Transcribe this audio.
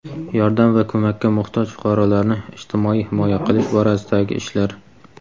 yordam va ko‘makka muhtoj fuqarolarni ijtimoiy himoya qilish borasidagi ishlar;.